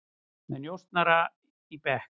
Með njósnara í bekk